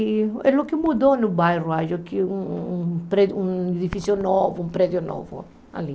E é o que mudou no bairro, acho que um um pré um edifício novo, um prédio novo ali.